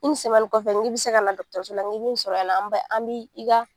kɔfɛ n k'i bɛ se ka na dɔkitɛriso la n k'i bɛ n sɔrɔ yan nɔ an bɛ an bi i ka